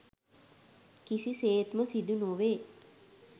කිසිසේත්ම සිදු නොවේ.